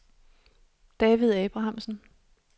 David Abrahamsen